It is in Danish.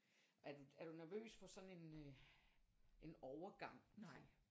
Er du er du nervøs for sådan en øh en overgang kan man sige